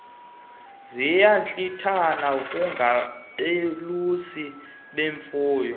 ziyantlithana kungabelusi bemfuyo